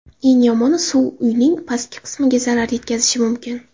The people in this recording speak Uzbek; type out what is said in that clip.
Eng yomoni suv uyning pastki qismiga zarar yetkazishi mumkin.